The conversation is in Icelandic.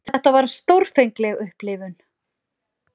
Þetta var stórfengleg upplifun.